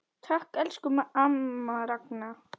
Takk, elsku amma Ragna.